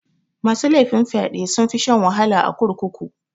Masu laifin fyaɗe sunfi shan wahala a kurkuku.